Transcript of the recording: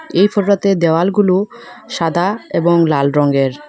এই ফটোটাতে দেওয়াল গুলো সাদা এবং লাল রঙের।